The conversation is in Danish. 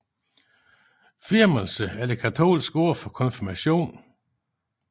Firmelse er det katolske ord for konfirmation